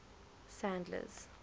sandler's